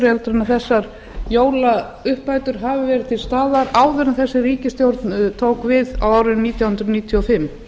heldur en þessar jólauppbætur hafi verið til staðar áður en þessi ríkisstjórn tók við á árinu nítján hundruð níutíu og fimm